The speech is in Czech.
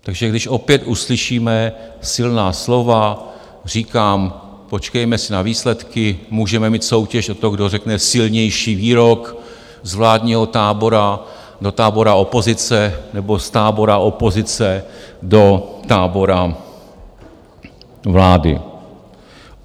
takže když opět uslyšíme silná slova, říkám - počkejme si na výsledky, můžeme mít soutěž o to, kdo řekne silnější výrok z vládního tábora do tábora opozice nebo z tábora opozice do tábora vlády.